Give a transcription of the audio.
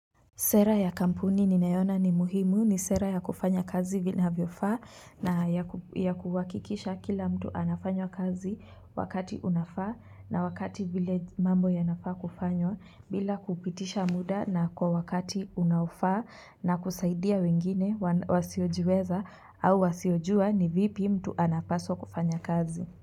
Sera ya kampuni ninayoona ni muhimu ni sera ya kufanya kazi inavyofaa na ya kuhakikisha kila mtu anafanya kazi wakati unafaa na wakati vile mambo yanafaa kufanywa bila kupitisha muda na kwa wakati unaofaa na kusaidia wengine wasiojiweza au wasiojua ni vipi mtu anapaswa kufanya kazi.